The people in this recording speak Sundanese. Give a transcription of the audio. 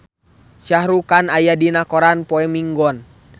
Shah Rukh Khan aya dina koran poe Minggon